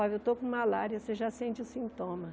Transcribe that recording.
Olha, eu estou com malária, você já sente o sintoma.